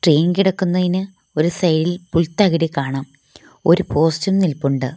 ഒരു സൈഡ് ഇൽ പുൽതളിര് കാണാം ഒരു പോസ്റ്റും നിൽപ്പുണ്ട്.